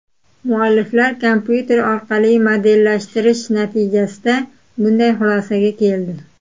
Mualliflar kompyuter orqali modellashtirish natijasida bunday xulosaga keldi.